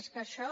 és que això